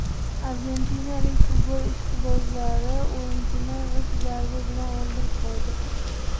Argentinalik futbol ishqibozlari o‘yinchini g‘isht zarbi bilan o‘ldirib qo‘ydi.